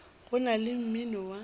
go na le mmino wa